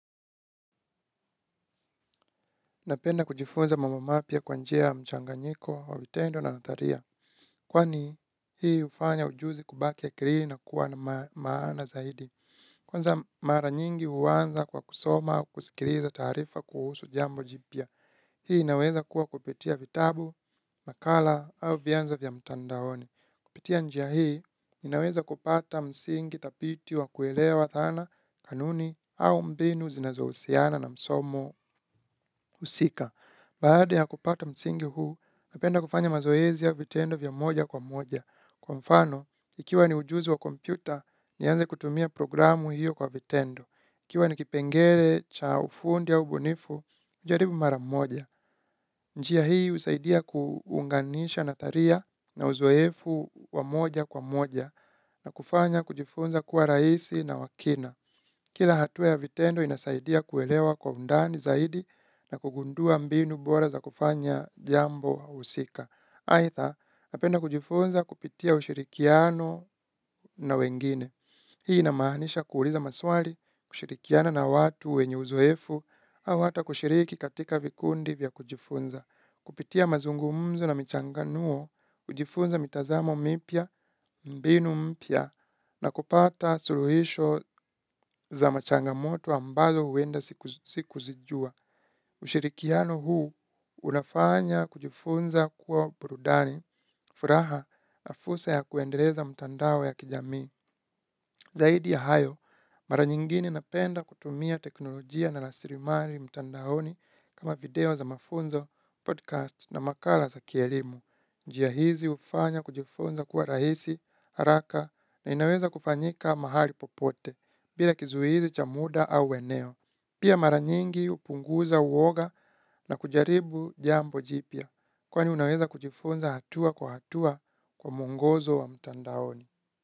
Napenda kujifunza mama mapya kwa njia ya mchanganyiko, vitendo na nataria. Kwani hii ufanya ujuzi kubaki akilini na kuwa na maana zaidi. Kwanza mara nyingi huanza kwa kusoma au kusikiriza taarifa kuhusu jambo jipya. Hii inaweza kuwa kupitia vitabu, makala au vyanzo vya mtandaoni. Kupitia njia hii ninaweza kupata msingi tapiti wa kuelewa dhana kanuni au mbinu zinazohusiana na msomo husika. Baada ya kupata msingi huu, napenda kufanya mazoezi ya vitendo vya moja kwa moja. Kwa mfano, ikiwa ni ujuzi wa kompyuta, nianze kutumia programu hiyo kwa vitendo. Ikiwa ni kipengele cha ufundi au ubunifu, ujaribu mara moja. Njia hii husaidia kuunganisha natharia na uzoefu wa moja kwa moja na kufanya kujifunza kuwa raisi na wa kina. Kila hatua ya vitendo inasaidia kuelewa kwa undani zaidi na kugundua mbinu bora za kufanya jambo husika. Aitha, napenda kujifunza kupitia ushirikiano na wengine. Hii inamaanisha kuuliza maswali, kushirikiana na watu wenye uzoefu, au hata kushiriki katika vikundi vya kujifunza. Kupitia mazungumzo na michanganuo, hujifunza mitazamo mipya, mbinu mpya, na kupata suluhisho za machangamoto ambazo uenda siku zijua. Ushirikiano huu unafanya kujifunza kuwa burudani, furaha na fusa ya kuendeleza mtandao ya kijamii. Zaidi ya hayo, mara nyingine napenda kutumia teknolojia na lasirimari mtandaoni kama video za mafunzo, podcast na makala za kielimu. Njia hizi hufanya kujifunza kuwa rahisi, haraka na inaweza kufanyika mahali popote, bila kizuizi cha muda au eneo. Pia mara nyingi upunguza uoga na kujaribu jambo jipya, kwani unaweza kujifunza hatua kwa hatua kwa muongozo wa mtandaoni.